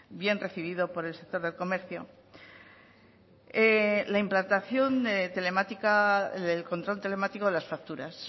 bien recibido por el sector del comercio la implantación telemática del control telemático de las facturas